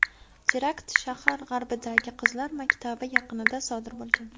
Terakt shahar g‘arbidagi qizlar maktabi yaqinida sodir bo‘lgan.